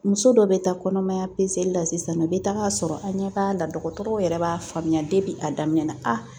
Muso dɔ bɛ taa kɔnɔmaya la sisan a bɛ taga sɔrɔ an ɲɛ b'a la dɔgɔtɔrɔw yɛrɛ b'a faamuya a daminɛ na a